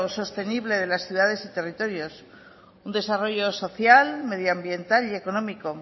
sostenible de las ciudades y territorios un desarrollo social medioambiental y económico